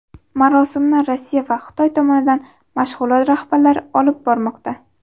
Marosimni Rossiya va Xitoy tomonidan mashg‘ulot rahbarlari olib bormoqda.